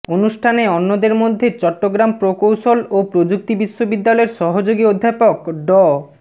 অনুষ্ঠানে অন্যদের মধ্যে চট্টগ্রাম প্রকৌশল ও প্রযুক্তি বিশ্ববিদ্যালয়ের সহযোগী অধ্যাপক ড